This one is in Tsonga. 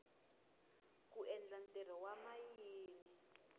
ku endla ntirho wa mayini